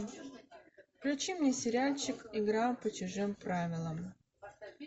включи мне сериальчик игра по чужим правилам